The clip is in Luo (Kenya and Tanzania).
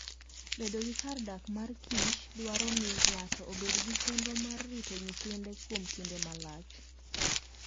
Bedo gi kar dak mar kich dwaro ni ng'ato obed gi chenro mar rito nyithinde kuom kinde malach.